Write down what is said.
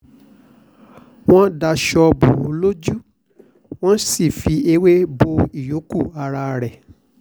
wọ́n daṣọ bò ó lójú wọ́n sì ṣe ewé bo ìyókù ara rẹ̀